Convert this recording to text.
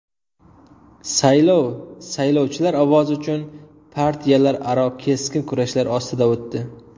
Saylov saylovchilar ovozi uchun partiyalararo keskin kurashlar ostida o‘tdi.